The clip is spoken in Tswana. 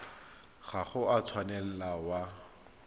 ga o a tshwanela wa